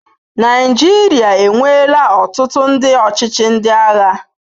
Naijiria enweela ọtụtụ ndị ọchịchị ndị agha.